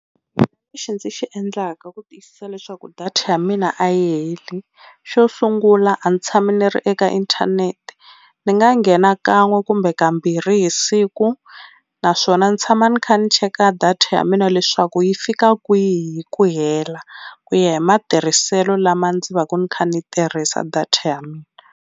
Lexi ndzi xi endlaka ku tiyisisa leswaku data ya mina a yi heli, xo sungula a ndzi tshama ndzi ri eka inthanete ni nga nghena kan'we kumbe kambirhi hi siku, naswona ni tshama ni kha ni cheka data ya mina leswaku yi fika kwihi hi ku hela ku ya hi matirhiselo lama ndzi va ku ndzi kha ndzi tirhisa data ya mina.